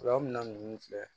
Furaminan ninnu filɛ